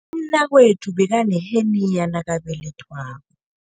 Umnakwethu bekaneheniya nakabelethwako.